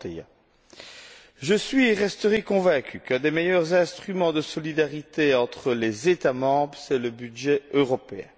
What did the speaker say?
31. Je suis et resterai convaincu qu'un des meilleurs instruments de solidarité entre les États membres, c'est le budget européen.